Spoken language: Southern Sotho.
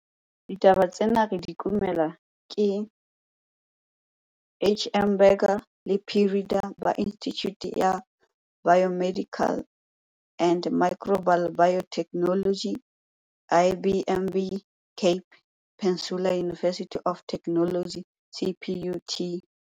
Ditaba tsena re di kumelwa ke HM Burger le P Rheeder ba Institjhute ya Biomedical and Microbial Biotechnology, IBMB, Cape Peninsula University of Technology, CPUT.